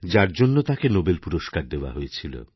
যার জন্যতাঁকে নোবেল পুরস্কার দেওয়া হয়েছিল